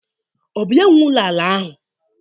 Ọ bụ ya nwe ụlọ ala ahụ?